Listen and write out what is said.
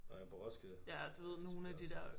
Nåh ja på Roskilde? Det selvfølgelig også træls